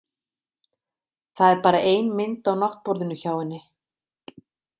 Það er bara ein mynd á náttborðinu hjá henni.